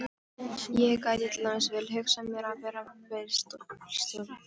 Ég gæti til dæmis vel hugsað mér að verða bílstjóri.